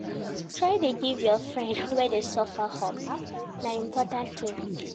Try dey give your friends wey dey suffer hope, na important tin.